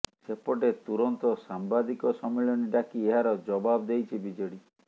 ସେପଟେ ତୁରନ୍ତ ସାମ୍ବାଦିକ ସମ୍ମିଳନୀ ଡାକି ଏହାର ଜବାବ ଦେଇଛି ବିଜେଡି